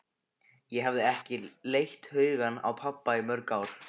Ég hafði ekki leitt hugann að pabba í mörg ár.